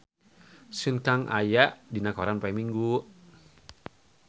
Sun Kang aya dina koran poe Minggon